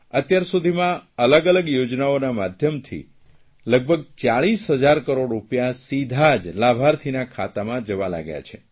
અત્યાર સુધીમાં અલગ અલગ યોજનાઓના માધ્યમથી લગભગ 40 હજાર કરોડ રૂપિયા સીધા જ લાભાર્થીના ખાતામાં જવા લાગ્યા છે